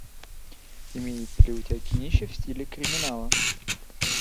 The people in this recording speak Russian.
имеется ли у тебя кинище в стиле криминала